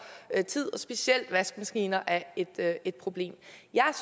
tid specielt vaskemaskiner er et et problem jeg